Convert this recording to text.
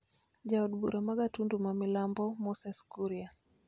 Ja od bura ma Gatundu ma milambo, Moses Kuria